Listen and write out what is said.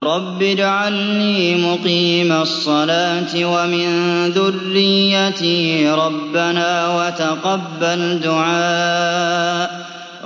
رَبِّ اجْعَلْنِي مُقِيمَ الصَّلَاةِ وَمِن ذُرِّيَّتِي ۚ رَبَّنَا وَتَقَبَّلْ دُعَاءِ